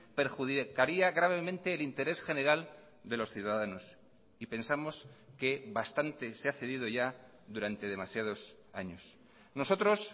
perjudicaría gravemente el interés general de los ciudadanos y pensamos que bastante se ha cedido ya durante demasiados años nosotros